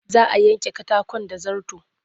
Za a yanke katakon da zarto.